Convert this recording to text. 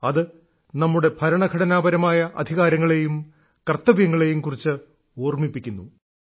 അത് നമ്മുടെ ഭരണഘടനാപരമായ അധികാരങ്ങളേയും കർത്തവ്യങ്ങളേയും കുറിച്ച് ഓർമ്മിപ്പിക്കുന്നു